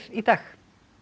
í dag